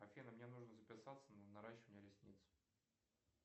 афина мне нужно записаться на наращивание ресниц